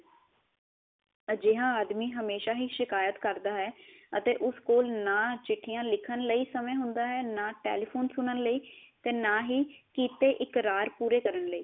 ਅਜਿਹਾ ਆਦਮੀ ਹਮੇਸ਼ਾ ਹੀ ਸ਼ਿਕੀਅਤ ਕਰਦਾ ਹੈ ਅਤੇ ਉਸ ਕੋਲ ਨਾ ਚਿਠਿਆ ਲਿਖਣ ਲਈ ਸਮੇ ਹੁੰਦਾ ਹੈ ਨਾ ਟੇਲੀਫ਼ੋਨ ਸੁਣਨ ਲਈ ਤੇ ਨਾ ਹੀ ਕਿੱਤੇ ਇਕਰਾਰ ਪੂਰੇ ਕਰਨ ਲਈ